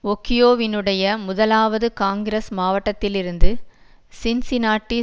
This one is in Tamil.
ஒக்கியோவினுடைய முதலாவது காங்கிரஸ் மாவட்டத்திலிருந்து சின்சினாட்டி